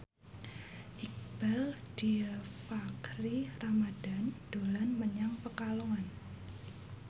Iqbaal Dhiafakhri Ramadhan dolan menyang Pekalongan